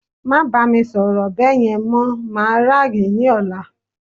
ma bami soro beeyen, mo ma raaghi ni ọlá